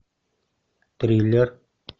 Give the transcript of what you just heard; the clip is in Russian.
триллер